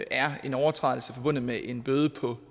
er en overtrædelse forbundet med en bøde på